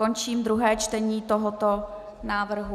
Končím druhé čtení tohoto návrhu.